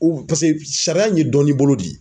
U paseke sariya in ye dɔnni bolo de ye.